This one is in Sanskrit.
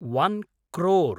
ओन् क्रोर्